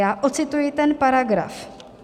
Já ocituji ten paragraf.